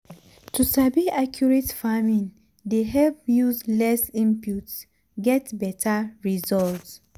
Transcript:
to sabi accurate farming dey help use less input get beta result.